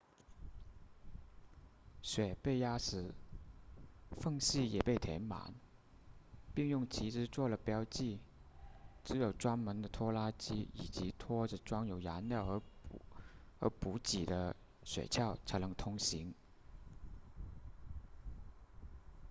雪被压实缝隙也被填满并用旗帜做了标记只有专门的拖拉机以及拖着装有燃料和补给的雪橇才能通行